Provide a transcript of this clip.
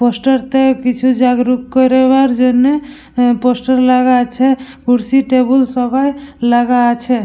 Poster তো কিছু জাগরুক করাবার জন্য পোস্টার লাগা আছে। কুরসি টেবল সবাই লাগা আছে।